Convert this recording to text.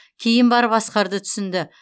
кейін барып асқарды түсінді